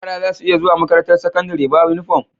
Yara zasu iya zuwa makarantar sakandari ba inufom